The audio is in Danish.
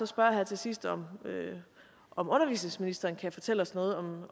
spørge her til sidst om om undervisningsministeren kan fortælle os noget